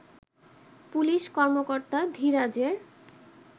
police কর্মকর্তা ধীরাজের